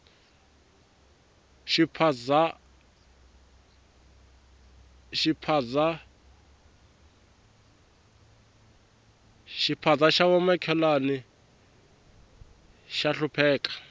xiphaza ya va makhelwana ya hlupheka